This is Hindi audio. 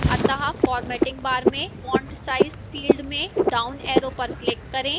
अतः formatting bar में font size field में downarrow पर click करें